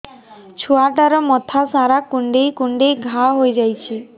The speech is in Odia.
ଛୁଆଟାର ମଥା ସାରା କୁଂଡେଇ କୁଂଡେଇ ଘାଆ ହୋଇ ଯାଇଛି